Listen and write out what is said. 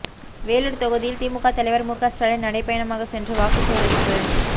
வேலூர் தொகுதியில் திமுக தலைவர் முக ஸ்டாலின் நடைபயணமாக சென்று வாக்கு சேகரிப்பு